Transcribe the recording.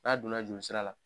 N'a donna jolisira la.